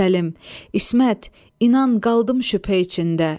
Səlim, İsmət, inan, qaldım şüphə içində.